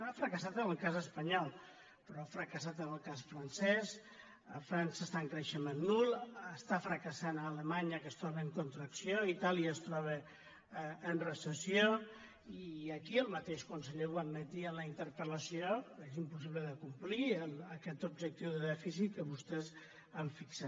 ha fracassat en el cas espanyol però ha fracassat en el cas francès frança està en creixement nul està fracassant a alemanya que es troba en contracció itàlia es troba en reces·sió i aquí el mateix conseller ho admetia en la inter·pel·la ció és impossible de complir aquest objectiu de dèficit que vostès han fixat